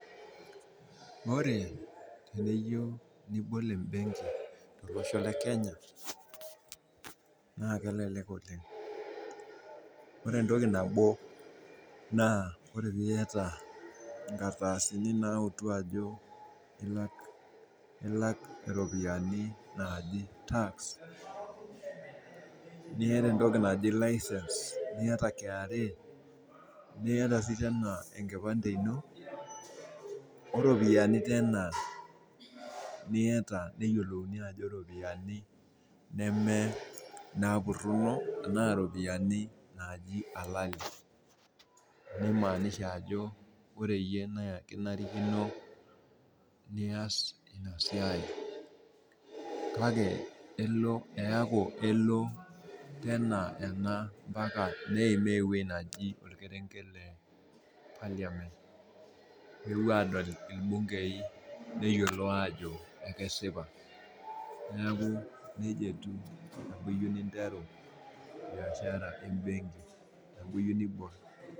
Ore eniyieu nibol embenki tolosho le Kenya naa kelelek oleng. Ore entoki nabo naa ore eniata inkardasini naautu ajo ilak iropiyiani naaji tax niata entoki naji license niata KRA niata sii tena enkipande ino oropiyiani tena niata neyiolouni ajo iropiyiani nemepurruno enaa irpoyiani naaji halali neimaanisha ajo ore iyie naa kinarikino nias ina siai kake elo, eeku elo tena ena ompaka neimaa ewuei neji orkerenget le parliament peepwo aadol irbungei neyiolou aajo akesipa. Neeku neija etiu eniyieu ninteru biashara embenki teniaku iyieu nibol